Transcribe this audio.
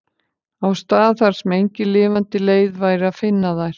Á stað þar sem engin lifandi leið væri að finna þær.